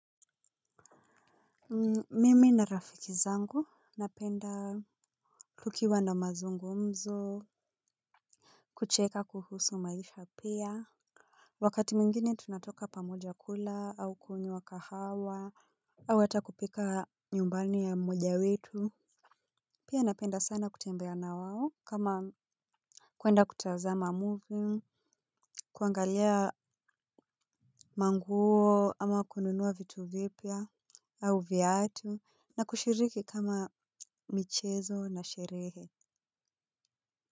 Mimi na rafiki zangu napenda tukiwa na mazungumzo. Kucheka kuhusu maisha pia. Wakati mwingine tunatoka pamoja kula au kunywa kahawa. Au hata kupika nyumbani ya mmoja wetu. Pia napenda sana kutembea na wao kama kuenda kutazama movie. Kuangalia manguo ama kununua vitu vipya au viatu na kushiriki kama michezo na sherehe.